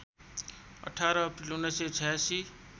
१८ April १९८६